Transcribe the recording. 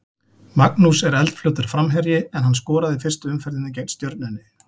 Magnús er eldfljótur framherji en hann skoraði í fyrstu umferðinni gegn Stjörnunni.